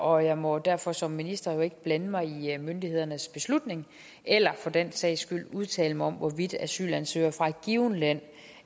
og jeg må derfor som minister ikke blande mig i i myndighedernes beslutning eller for den sags skyld udtale mig om hvorvidt asylansøgere fra et givent land